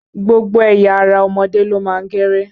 Gbogbo ẹ̀ya ara ọmọdé ló má ń kéré.